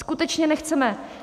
Skutečně nechceme!